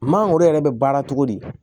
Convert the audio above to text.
Mangoro yɛrɛ bɛ baara cogo di